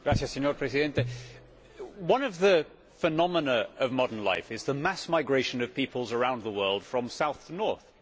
Mr President, one of the phenomena of modern life is the mass migration of peoples around the world from south to north.